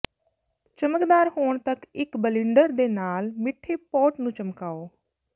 ਚਮਕਦਾਰ ਹੋਣ ਤੱਕ ਇੱਕ ਬਲਿੰਡਰ ਦੇ ਨਾਲ ਮਿੱਠੇ ਪੋਟ ਨੂੰ ਚਮਕਾਓ